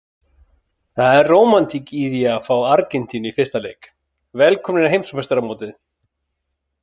Það er rómantík í því að fá Argentínu í fyrsta leik, velkomnir á heimsmeistaramótið.